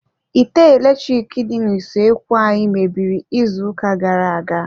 Ite eletrik dị n'usoekwu anyị mebiri izu ụka gara-aga.